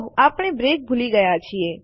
આપણે બ્રેક ભૂલી ગયા છીએ